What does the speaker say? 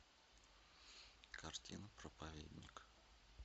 картина проповедник